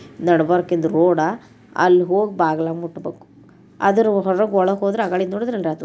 ನಡ್ಬರ್ಕಿನ್ road ಅಲ್ ಹೋಗ್ ಬಾಗ್ಲಾ ಮುಟ್ಬೇಕು ಅದ್ರ್ ಹೊರಗ್ ಒಳಗ್ ಹೋದ್ರ ಆಗಳಿದ್ ನೋಡಿದ್ರ್ ರಗಡಾತು .